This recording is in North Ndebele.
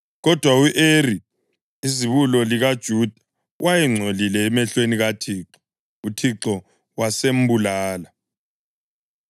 Kodwa u-Eri izibulo likaJuda, wayengcolile emehlweni kaThixo; uThixo wasembulala.